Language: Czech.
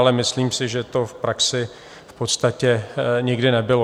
Ale myslím si, že to v praxi v podstatě nikdy nebylo.